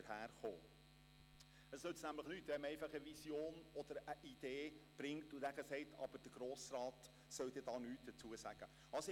Denn es nützt nichts, eine Vision oder eine Idee einzubringen, aber den Grossen Rat nichts dazu sagen zu lassen.